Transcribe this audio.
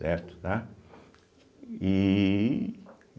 Certo? tá? e